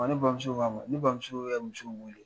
Ne bamuso k'ama ne bamuso ye muso in wele